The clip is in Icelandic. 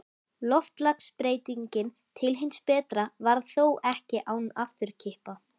Loftslagsbreytingin til hins betra varð þó ekki án afturkippa.